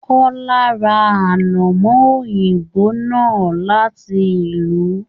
Kọla ra anamọ òyìnbó náà láti ìlú.